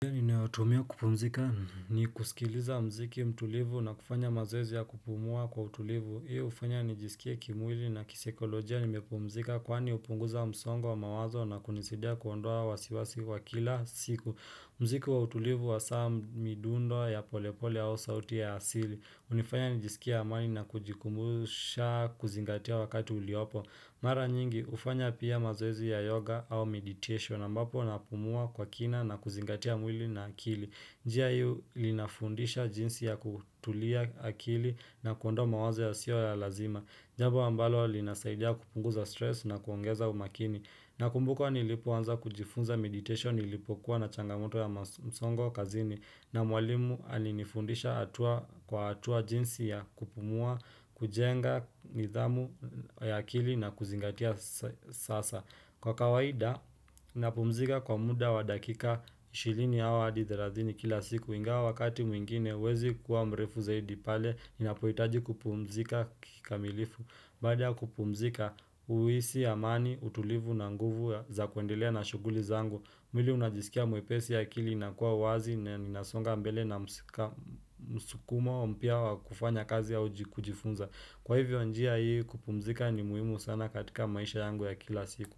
Ninayotumia kupumzika ni kusikiliza muziki mtulivu na kufanya mazoezi ya kupumua kwa utulivu Hio hufanya nijisikie kimwili na kisaikolojia nimepumzika kwani hupunguza msongo wa mawazo na kunisaidia kuondoa wasiwasi wa kila siku muziki wa utulivu hasaa midundo ya polepole ya au sauti ya asili hunifanya nijisikie amani na kujikumbusha kuzingatia wakati uliopo Mara nyingi hufanya pia mazoezi ya yoga au meditation ambapo napumua kwa kina na kuzingatia mwili na akili. Njia hio linafundisha jinsi ya kutulia akili na kuondoa mawazo yasio ya lazima. Jambo ambalo linasaidia kupunguza stress na kuongeza umakini. Nakumbuka nilipoanza kujifunza meditation nilipokuwa na changamoto ya msongo kazini. Na mwalimu alinifundisha hatua kwa hatua jinsi ya kupumua, kujenga, nidhamu ya akili na kuzingatia sasa Kwa kawaida, napumzika kwa muda wa dakika 20 au hadi 30 kila siku Ingawa wakati mwingine, huwezi kuwa mrefu zaidi pale, inapohitaji kupumzika kikamilifu Baada kupumzika, uhisi, amani, utulivu na nguvu za kuendelea na shughuli zangu mwili unajisikia mwepesi akili inakuwa wazi Ninasonga mbele na msukumo mpya wa kufanya kazi au kujifunza Kwa hivyo njia hii kupumzika ni muhimu sana katika maisha yangu ya kila siku.